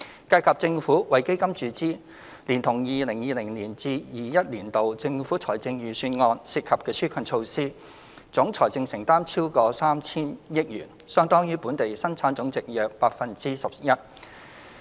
計及政府為基金注資，連同 2020-2021 年度政府財政預算案涉及的紓困措施，總財政承擔超過 3,000 億元，相當於本地生產總值約 11%。